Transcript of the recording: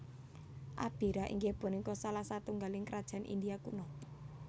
Abhira inggih punika salah satunggaling Krajaan India Kuno